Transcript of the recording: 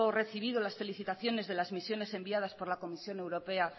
recibido las felicitaciones de las misiones enviadas por la comisión europea